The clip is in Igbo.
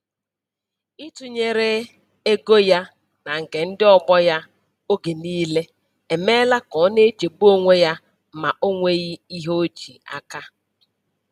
Ịtụnyere ego ya na nke ndị ọgbọ ya oge niile emeela ka ọ na-echegbu onwe ya ma o nweghị ihe o ji aka.